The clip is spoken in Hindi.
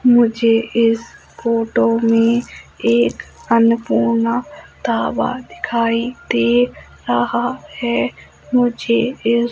मुझे इस फोटो में एक अन्नपूर्णा ढाबा दिखाई दे रहा है मुझे इस--